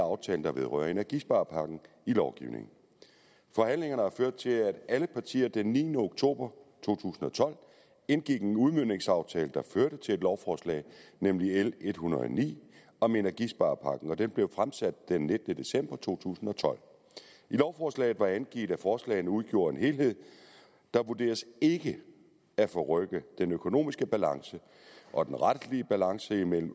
af aftalen der vedrører energisparepakken i lovgivning forhandlingerne har ført til at alle partier den niende oktober to tusind og tolv indgik en udmøntningsaftale der førte til et lovforslag nemlig l en hundrede og ni om energisparepakken det blev fremsat den nittende december to tusind og tolv i lovforslaget var angivet at forslagene udgjorde en helhed og der vurderedes ikke at forrykke den økonomiske balance og den retlige balance mellem